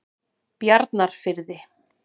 Bjarnarfirði